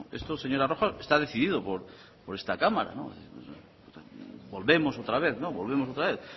esto señora rojo está decidido por esta cámara volvemos otra vez no volvemos otra vez